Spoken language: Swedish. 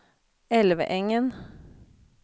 Älvängen